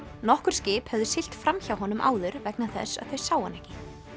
nokkur skip höfðu siglt fram hjá honum áður vegna þess að þau sáu hann ekki